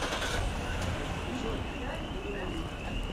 джой имани